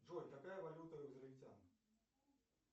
джой какая валюта у израильтян